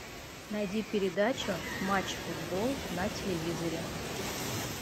найди передачу матч футбол на телевизоре